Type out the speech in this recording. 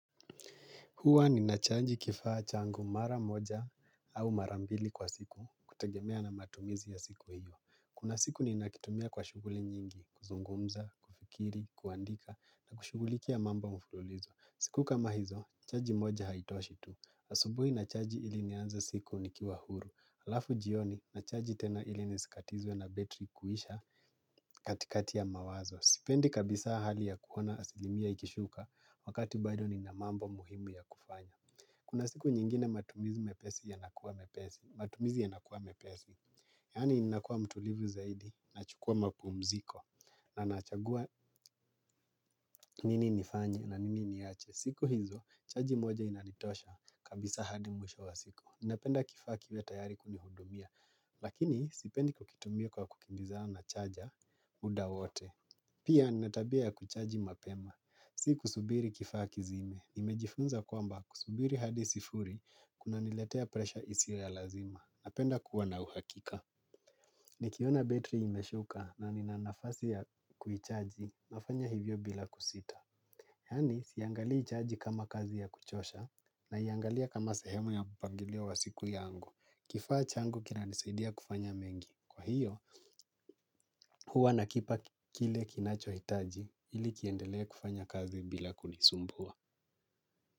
Hua ninachaji kifaa changu mara moja au mara mbili kwa siku kutegemea na matumizi ya siku hiyo. Kuna siku ninakitumia kwa shughuli nyingi, kuzungumza, kufikiri, kuandika na kushughuliki ya mambo mfululizo. Siku kama hizo, chaji moja haitoshi tu. Asubui nachaji ili nianze siku nikiwa huru. Halafu jioni nachaji tena ili nisikatizwe na betri kuisha katikati ya mawazo. Sipendi kabisa hali ya kuona asilimia ikishuka wakati bado nina mambo muhimu ya kufanya. Kuna siku nyingine matumizi mepesi yanakuwa mepesi matumizi yanakuwa mepesi. Yaani ninakua mtulivu zaidi nachukua mpumziko na nachagua nini nifanye na nini niache. Siku hizo, chaji moja inanitosha kabisa hadi mwisho wa siku. Ninapenda kifaa kiwe tayari kunihudumia. Lakini sipendi kukitumia kwa kukimbizana na chaja muda wote. Pia nina tabia ya kuchaji mapema, si kusubiri kifaa kizime, nimejifunza kwamba kusubiri hadi sifuri kuna niletea presha isio ya lazima, napenda kuwa na uhakika. Nikiona betri imeshuka na nina nafasi ya kuichaji, nafanya hivyo bila kusita. Yani siangalii chaji kama kazi ya kuchosha na iangalia kama sehemu ya mpangilio wa siku yangu. Kifaa changu kinanisaidia kufanya mengi. Kwa hiyo, huwa nakipa kile kinachohitaji ili kiendelee kufanya kazi bila kunisumbua.